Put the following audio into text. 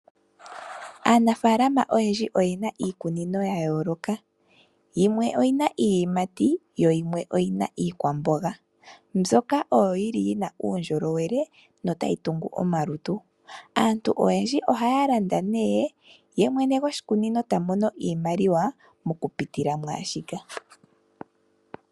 Aanafalama oyendji oyena iikunino ya yoloka. Yimwe oyina iiyimati, yoyimwe oyina iikwamboga mbyoka oyo yili yina uundjolowele notayi tungu oomalutu. Aantu oyendji ohaya landa nee ye mwene goshikunino ta mono iimaliwa moku pitila mwaashika.